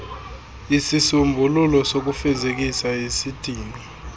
isisombululo sokufezekisa isidingo